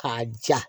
K'a ja